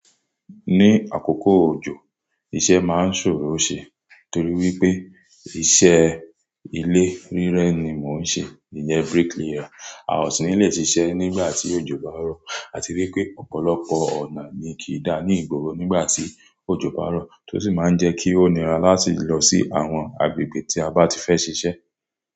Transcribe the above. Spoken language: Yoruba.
Ní àkókò òjò, iṣẹ́ máa ń ṣòro ṣe torí wípé iṣẹ́ ilé rírẹ́ ni mò ń ṣe, ìyẹn bricklayer. A ò sì ní lè ṣiṣẹ́ nígbà tí òjò bá rọ̀. A ti wipé ọ̀pọ̀lọpọ̀ ọ̀nà ni kì í dá ní ìgboro nígbà tí òjò bá rọ̀, tó sì máa ń jẹ́ kí ó nira láti lọ sí àwọn agbègbè tí a bá ti fẹ́ ṣiṣẹ́.